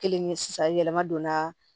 Kelen ye sisan yɛlɛma donna